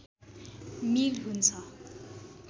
मिल हुन्छ